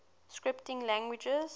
scripting languages